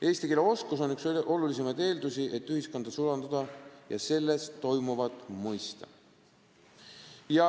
Eesti keele oskus on üks olulisemaid eeldusi selleks, et inimene saaks ühiskonda sulanduda ja selles toimuvat mõista.